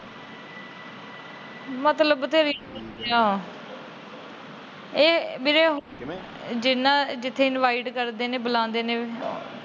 ਮਤਲਬ ਤੇ ਨੀ ਨਿਕਲਿਆ ਇਹ ਵੀਰੇ ਜਿੰਨਾ ਜਿਥੇ invite ਕਰਦੇ ਨੇ ਬੁਲਾਂਦੇ ਨੇ।